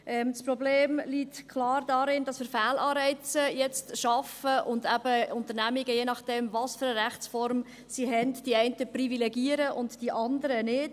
Das Problem liegt klar darin, dass wir jetzt Fehlanreize schaffen und eben dann je nachdem, welche Rechtsform sie haben, die einen Unternehmungen privilegieren und die anderen nicht.